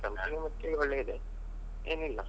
Company ಯ ಮಟ್ಟಿಗೆ ಒಳ್ಳೇದೇ ಏನಿಲ್ಲ ಮತ್ತೆ ಆ.